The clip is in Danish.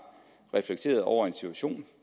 reflekteret over en situation og